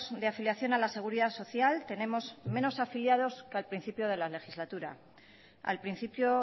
de afiliación a la seguridad social tenemos menos afiliados que al principio de la legislatura al principio